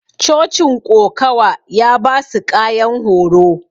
cochin ƙokawa ya basu ƙayan horo.